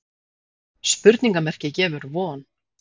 Spurningarmerkið gefur von.